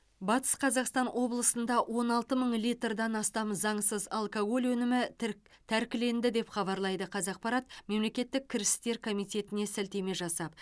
батыс қазақстан облысында он алты мың литрдан астам заңсыз алкоголь өнімі тірк тәркіленді деп хабарлайды қазақпарат мемлекеттік кірістер комитетіне сілтеме жасап